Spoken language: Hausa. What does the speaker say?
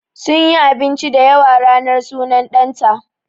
Sunyi abinci da yawa ranar sunan ɗan ta